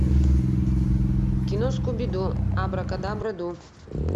кино скуби ду абракадабра ду